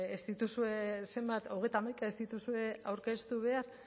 ez dituzue zenbat hogeita hamaika ez dituzue aurkeztu behar